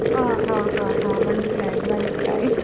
ആ... ആ... മനസിലായി, മനസിലായി.